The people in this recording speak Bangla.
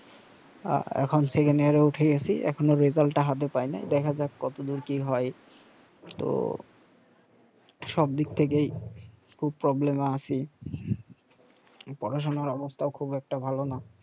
আ এখন এ উঠে গেসি একখনও টা হাতে পাইনাই দেখা যাক কতদুর কি হয় তো সবদিক থেকেই খুব এ আছি পড়াশোনার অবস্থাও খুব একটা ভালোনা